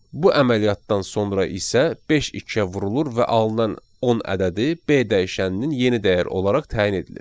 Bu əməliyyatdan sonra isə beş ikiyə vurulur və alınan 10 ədədi B dəyişəninin yeni dəyər olaraq təyin edilir.